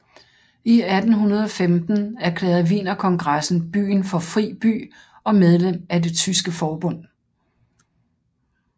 I 1815 erklærede Wienerkongressen byen for fri by og medlem af Det tyske forbund